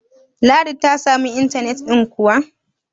ladi ta samu intanet ɗin kuwa?